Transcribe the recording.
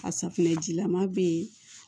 A safunɛjilama bɛ yen